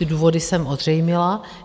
Ty důvody jsem ozřejmila.